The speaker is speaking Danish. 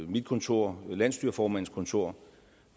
mit kontor og landsstyreformandens kontor